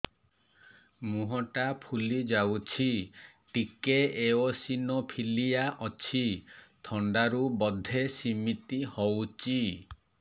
ମୁହଁ ଟା ଫୁଲି ଯାଉଛି ଟିକେ ଏଓସିନୋଫିଲିଆ ଅଛି ଥଣ୍ଡା ରୁ ବଧେ ସିମିତି ହଉଚି